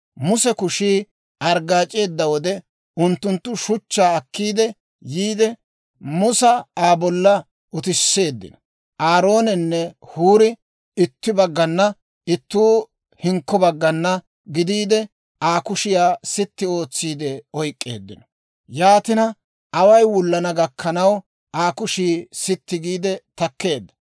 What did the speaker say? Muse kushii arggaac'eedda wode, unttunttu shuchchaa akki yiide, Musa Aa bolla utisseeddino. Aaroonenne Huuri ittuu itti baggana ittuu hinkko baggana gidiide, Aa kushiyaa sitti ootsiidde oyk'k'eeddino. Yaatina away wullana gakkanaw Aa kushii sitti giide takkeedda.